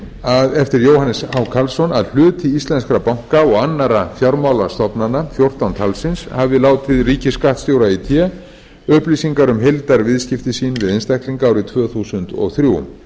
að hluti íslenskra banka og annarra fjármálastofnana fjórtán talsins hafi látið ríkisskattstjóra í té upplýsingar um heildarviðskipti sín við einstaklinga árið tvö þúsund og þrjú